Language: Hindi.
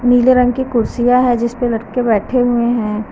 नीले रंग की कुर्सियां है जिस पर लड़के बैठे हुए हैं।